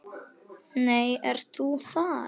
Nú ert þú þar.